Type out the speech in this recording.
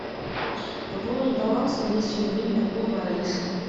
пополнить баланс на двести рублей меркулова алиса